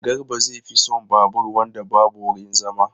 Garba zai fi son babur wanda babu wurin zama.